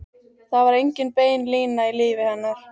Það var engin bein lína í lífi hennar.